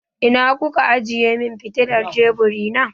Ina ku ka ajiye min fitilar teburi?